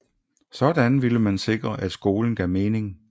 Sådan ville man sikre at skolen gav mening